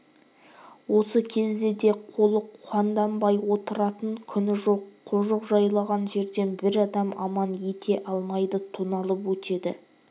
осы кезде де қолы қанданбай отыратын күні жоқ қожық жайлаған жерден бір адам аман ете алмайды тоналып өтеді